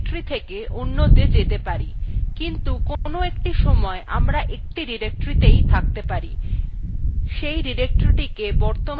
সেই directoryটিকে বর্তমান directory অথবা কর্মরত directory বলা হয়